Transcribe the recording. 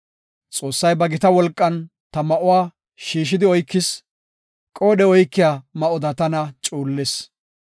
Xoossay ba gita wolqan ta ma7uwa shiishidi oykis; qoodhe oykiya ma7oda tana cuullis.